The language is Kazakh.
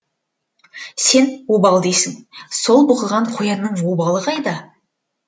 сен обал дейсің сол бұқыған қоянның обалы қайда